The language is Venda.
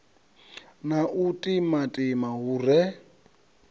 na u timatima hu re